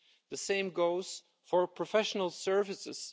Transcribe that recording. The same goes for professional services.